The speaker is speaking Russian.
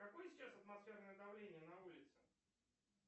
какое сейчас атмосферное давление на улице